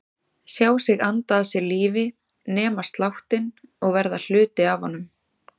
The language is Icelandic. Sjá sig anda að sér lífi, nema sláttinn og verða hluti af honum.